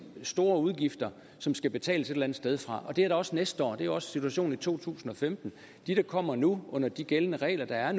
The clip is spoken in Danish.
store udgifter som skal betales et eller andet sted fra og det er det også næste år det er også situationen i to tusind og femten de der kommer nu under de gældende regler er